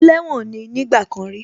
Ẹlẹ́wọ̀n ní nígbà kan rí